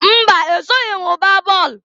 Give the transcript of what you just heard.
Mba! Esoghi m gbaa bọọlụ.